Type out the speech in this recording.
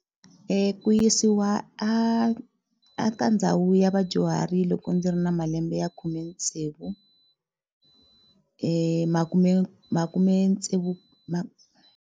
Ku yisiwa a a ka ndhawu ya vadyuhari loko ndzi ri na malembe ya khume tsevu makume makhumetsevu .